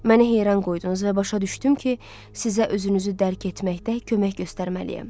Məni heyran qoydunuz və başa düşdüm ki, sizə özünüzü dərk etməkdə kömək göstərməliyəm.